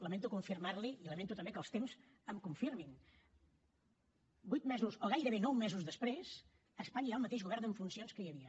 lamento confirmar li ho i lamento també que els temps m’ho confirmin vuit mesos o gairebé nou mesos després a espanya hi ha el mateix govern en funcions que hi havia